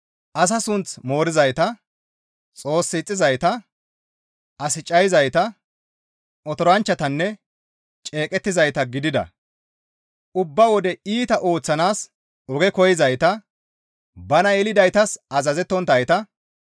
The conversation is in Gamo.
Asa sunth moorizayta, Xoos ixxizayta, as cayizayta, otoranchchatanne ceeqettizayta gidida, ubba wode iita ooththanaas oge koyzayta, bana yelidaytas azazettonttayta,